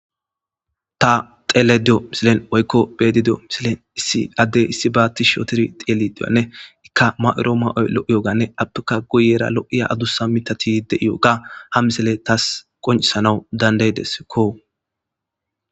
Ta xelediyo misilen woykko bedidio misilen issi addey issi baatti shootir tieli di'anne ikka ma'oro ma'oy lo'iyoganne attuka guyera lo'iya adusa mitatide'iyooga ha misele taas qoncisanawu danday dessikko